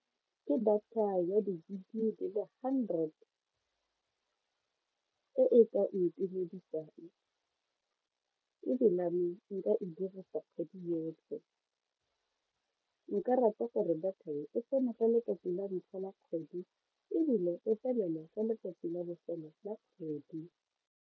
Ke data ya di gig di le hundred e e ka ntumedisang ebilane nka e dirisa kgwedi yotlhe nka rata gore data e e tsene ka letsatsi la ntlha la kgwedi ebile e felele ka letsatsi la bofelo la kgwedi.